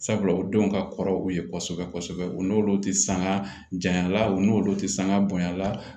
Sabula u denw ka kɔrɔ u ye kosɛbɛ kosɛbɛ u n'olu tɛ sanga janya la u n'olu tɛ sanga bonya la